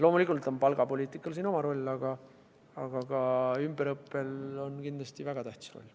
Loomulikult on palgapoliitikal siin oma roll, aga ka ümberõppel on kindlasti väga tähtis roll.